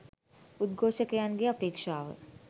උද්ඝෝෂකයන්ගේ අපේක්ෂාව